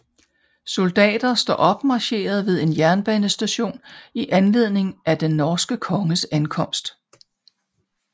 Soldater står opmarcheret ved en jernbanestation i anledning af den norske konges ankomst